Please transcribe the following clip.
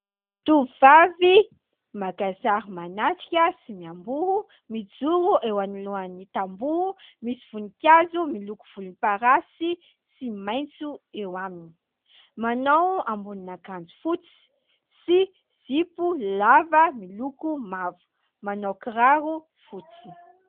Tovovavy maka sary manatrika sy miamboho mijoro eo anoloan'ny tamboho. Misy voninkazo miloko volomparasy sy maitso eo aminy. Manao ambonin'akanjo fotsy sy zipo lava miloko mavo, manao kiraro fotsy.